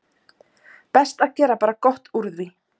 Best að gera bara gott úr því.